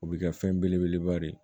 O bɛ kɛ fɛn belebeleba de ye